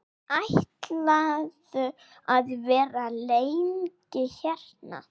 Ætlarðu að vera lengi hérna?